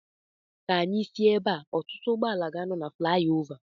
Ka anyị si ebea. Ọtụtụ ụgbọala ga-anọ na flayova